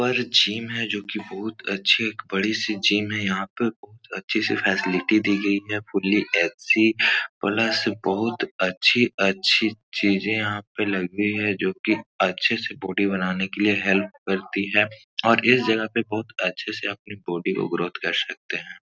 पर जिम है जोकि बहुत अच्छे एक बड़ी सी जिम है। यहाँ पे बहुत अच्छे से फैसिलिटी दी गई है। Fully AC. प्लस बहुत अच्छी अच्छी चीजें यहाँ पे लगी है जोकि अच्छे से बॉडी बनाने के लिए हेल्प करती हैं और इस जगह पे बहुत अच्छी से अपनी बॉडी को ग्रोथ कर सकते हैं।